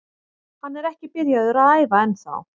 Hann er ekki byrjaður að æfa ennþá.